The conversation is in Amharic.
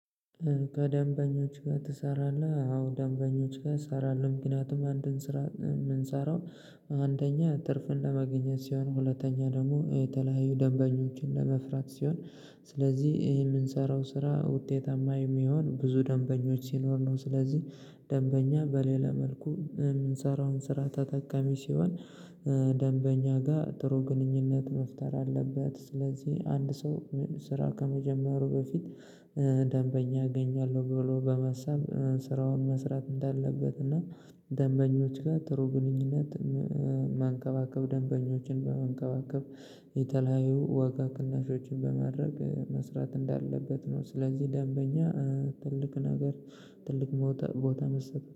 ከደንበኞች ጋር ትሰራለህ? አዎ ደንበኞች ጋር እሰራለሁ ምክንያቱም አንድን ስራ የምንሰራው አንደኛ ትርፍን ለማግኘት ሲሆን ሁለተኛ ደግሞ የተለያዩ ደንበኞችን ለማፍራት ሲሆን ስለዚህ ይሄ የምንሰራው ስራ ውጤታማ የሚሆን ብዙ ደንበኞች ሲኖር ነው ስለዚህ ደንበኛ በሌላ መልኩ የምንሰራውን ስራ ተጠቃሚ ሲሆን ደንበኛ ጋር ጥሩ ግንኙነት መፍጠር አለበት። ስለዚህ አንድ ሰው ስራ ከመጀመሩ በፊት ደንበኛ አገኛለሁ ብሎ በማሰብ ስራውን መስራት እንዳለበት እና ደንበኞች ጋር ጥሩ ግንኙነት መንከባከብ ደንበኞችን በመንከባከብ የተለያዩ ዋጋ ቅናሾችን በማድረግ መስራት እንዳለበት ነው ስለዚህ ደንበኛ ትልቅ ነገር ትልቅ ቦታ መሰጠት